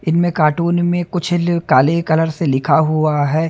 इनमें कार्टून में कुछ ल काले कलर से लिखा हुवा हैं।